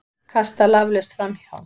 Kasta laflaust framhjá.